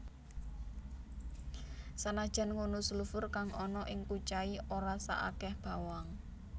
Sanajan ngono sulfur kang ana ing kucai ora saakeh bawang